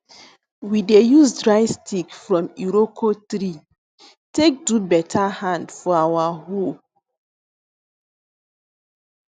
we dey use dry stick from iroko tree take do better hand for our hoe